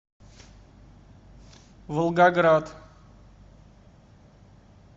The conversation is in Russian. волгоград